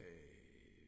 øh